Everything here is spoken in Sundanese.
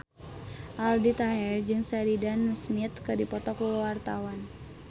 Aldi Taher jeung Sheridan Smith keur dipoto ku wartawan